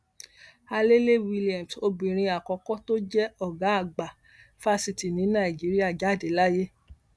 alèlẹwilliams obìnrin àkọkọ tó jẹ ọgá àgbà fásitì ní nàìjíríà jáde láyé